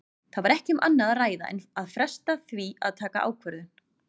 Það var ekki um annað að ræða en fresta því að taka ákvörðun.